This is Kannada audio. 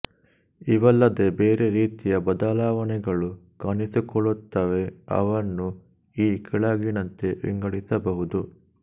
ಇವಲ್ಲದೆ ಬೇರೆ ರೀತಿಯ ಬದಲಾವಣೆಗಳು ಕಾಣಿಸಿಕೊಳ್ಳುತ್ತವೆ ಅವನ್ನು ಈ ಕೆಳಗಿನಂತೆ ವಿಂಗಡಿಸಬಹುದು